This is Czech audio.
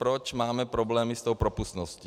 Proč máme problémy s tou propustností.